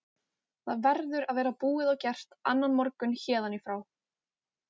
Þetta verður að vera búið og gert annan morgun héðan í frá.